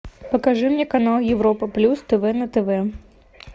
покажи мне канал европа плюс тв на тв